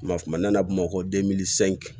Kuma kuma n'a bamakɔ